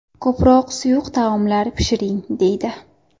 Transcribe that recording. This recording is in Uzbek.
Ko‘proq suyuq taomlar pishiring deydi.